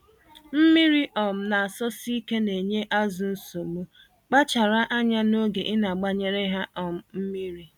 Mmírí um n'asọsike nenye azụ nsogbu — kpachara anya n'oge inagbanyere ha um mmiri.